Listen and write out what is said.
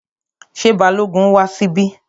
Ṣé Balógun wá síbí?